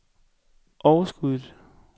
overskuddet